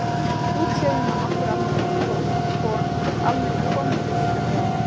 Útséð um að nokkur almennileg kona mundi líta við honum.